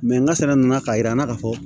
n ka sɛnɛ nana k'a yira n na ka fɔ